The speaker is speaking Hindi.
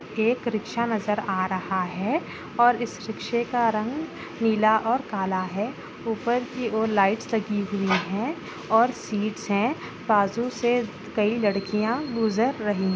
एक रिक्शा नजर आ रहा है और इस रिक्शे का रंग नीला और काला है ऊपर की ओर लाइट्स लगी हुई है और सीटस है बाजु से कई लड़किया गुजर रही है।